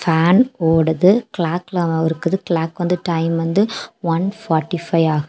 Fan ஓடுது கிளாக்லா இருக்குது கிளாக் வந்து டைம் வந்து ஒன் ஃபார்ட்டி ஃபைவ் ஆகுது.